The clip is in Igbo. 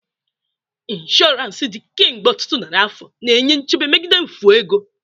Insurance dị kemgbe ọtụtụ narị afọ, na-enye nchebe megide mfu ego.